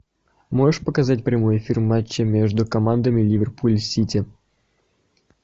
можешь показать прямой эфир матча между командами ливерпуль сити